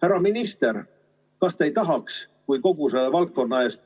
Härra minister, kas te ei tahaks kogu selle valdkonna eest